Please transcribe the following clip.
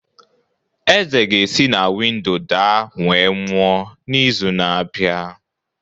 Eze ga-esi na windo daa wee nwụọ n’izu na-abịa